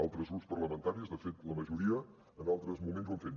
altres grups parlamentaris de fet la majoria en altres moments ho han fet